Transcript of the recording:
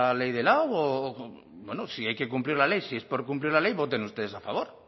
ley de lado o bueno si hay que cumplir la ley si es por cumplir la ley voten ustedes a favor